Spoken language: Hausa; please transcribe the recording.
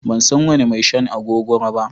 Ban san wani mai shan agogoro ba.